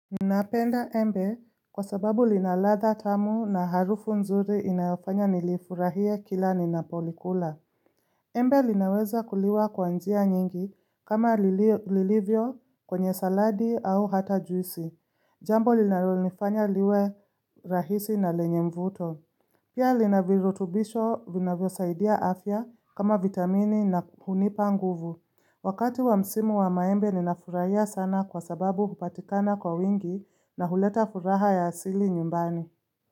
Napenda embe kwa sababu linaladha tamu na harufu nzuri inayofanya nilifurahie kila ninapolikula. Embe linaweza kuliwa kwanjia nyingi kama lilio lilivyo kwenye saladi au hata juisi. Jambo linalonifanya liwe rahisi na lenye mvuto. Pia linavirutubisho vinavyo saidia afya kama vitamini na hunipa nguvu. Wakati wa msimu wa maembe ninafurahia sana kwa sababu hupatikana kwa wingi na huleta furaha ya asili nyumbani.